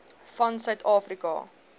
van suid afrika